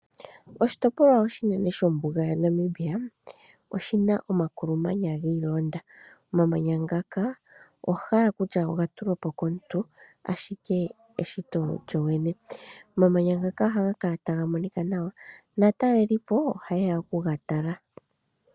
Oshitopolwa oshinene shombuga yaNamibia, oshina omakulumanya giilonda. Omamanya ngaka oho hala kutya ogatulwa po komuntu ashike eshito lyo lyene. Omamanya ngaka ohaga kala taga monika nawa naatalelipo ohaye ya okuga tala.